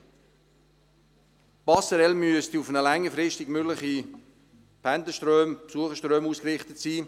Die Passerelle müsste längerfristig auf mögliche Pendler- und Besucherströme ausgerichtet sein.